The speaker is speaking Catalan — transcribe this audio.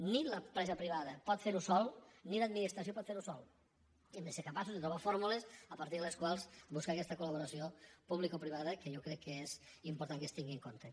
ni l’empresa privada pot fer ho sola ni l’administració pot fer ho sola i hem de ser capaços de trobar fórmules a partir de les quals buscar aquesta col·laboració publicoprivada que jo crec que és important que es tingui en compte